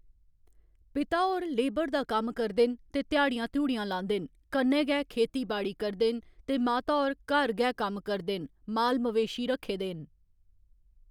पिता होर लेबर दा कम्म करदे न ते ध्याड़ियां-ध्युड़ियां लांदे न कन्नै गै खेती बाड़ी करदे न ते माता होर घर गै कम्म करदे न माल मवेशी रक्खे दे न